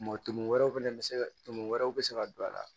Mɔton wɛrɛ fɛnɛ bɛ se ka tumu wɛrɛw bɛ se ka don a la